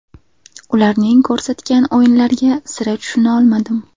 Ularning ko‘rsatgan o‘yinlariga sira tushuna olmadim.